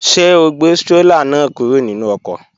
Ṣé o gbé strólà náà kúrò nínú ọkọ̀?